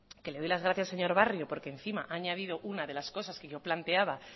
que le doy las gracias al señor barrio porque encima ha añadido una de las cosas que yo planteaba